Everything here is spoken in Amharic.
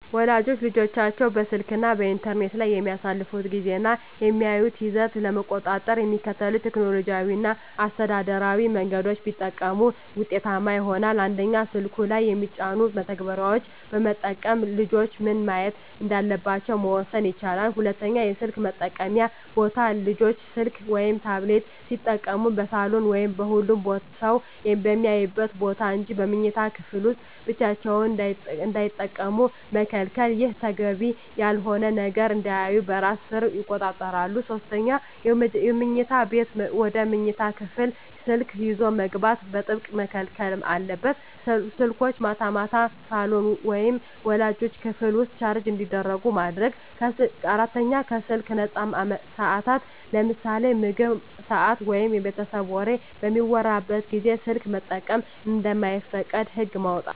ወላጆች ልጆቻቸው በስልክ እና በኢንተርኔት ላይ የሚያሳልፉትን ጊዜ እና የሚያዩትን ይዘት ለመቆጣጠር የሚከተሉትን ቴክኖሎጂያዊ እና አስተዳደራዊ መንገዶች ቢጠቀሙ ውጤታማ ይሆናል፦ 1)ስልኩ ላይ የሚጫኑ መተግበሪያዎችን በመጠቀም ልጆች ምን ማየት እንዳለባቸው መወሰን ይቻላል። 2)የስልክ መጠቀምያ ቦታ: ልጆች ስልክ ወይም ታብሌት ሲጠቀሙ በሳሎን ወይም ሁሉም ሰው በሚያይበት ቦታ እንጂ በመኝታ ክፍል ውስጥ ብቻቸውን እንዳይጠቀሙ መከልከል። ይህ ተገቢ ያልሆነ ነገር እንዳያዩ በራስ ሰር ይቆጣጠራል። 3)የመኝታ ሰዓት: ወደ መኝታ ክፍል ስልክ ይዞ መግባት በጥብቅ መከልከል አለበት። ስልኮች ማታ ማታ ሳሎን ወይም ወላጆች ክፍል ውስጥ ቻርጅ እንዲደረጉ ማድረግ። 4)ከስልክ ነፃ ሰዓታት: ለምሳሌ በምግብ ሰዓት ወይም የቤተሰብ ወሬ በሚወራበት ጊዜ ስልክ መጠቀም እንደማይፈቀድ ህግ ማውጣት።